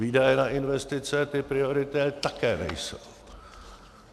Výdaje na investice ty priority také nejsou.